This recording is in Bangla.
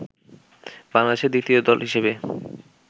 বাংলাদেশের দ্বিতীয় দল হিসেবে